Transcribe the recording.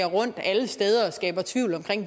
rundt alle steder og skabte tvivl om